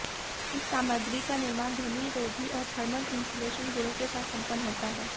इस सामग्री का निर्माण ध्वनिरोधी और थर्मल इन्सुलेशन गुणों के साथ संपन्न होता है